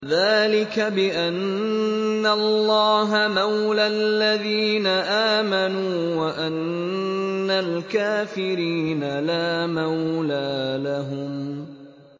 ذَٰلِكَ بِأَنَّ اللَّهَ مَوْلَى الَّذِينَ آمَنُوا وَأَنَّ الْكَافِرِينَ لَا مَوْلَىٰ لَهُمْ